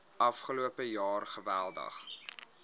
afgelope jaar geweldig